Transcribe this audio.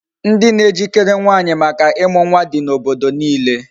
Ndị na ejikere nwaanyị maka ịmụ nwa di n'obodo niile.